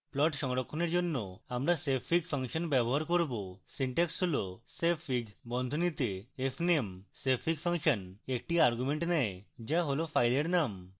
plot সংরক্ষণের জন্য আমরা savefig ফাংশন ব্যবহার করব